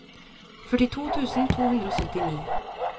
førtito tusen to hundre og syttini